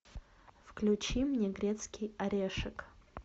включи мне грецкий орешек